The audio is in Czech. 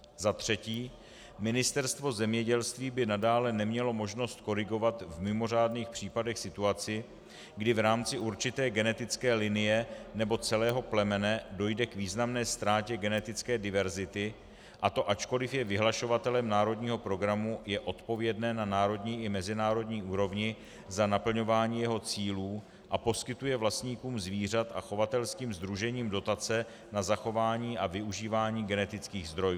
Za třetí, Ministerstvo zemědělství by nadále nemělo možnost korigovat v mimořádných případech situaci, kdy v rámci určité genetické linie nebo celého plemene dojde k významné ztrátě genetické diverzity, a to ačkoliv je vyhlašovatelem národního programu, je odpovědné na národní i mezinárodní úrovni za naplňování jeho cílů a poskytuje vlastníkům zvířat a chovatelským sdružením dotace na zachování a využívání genetických zdrojů.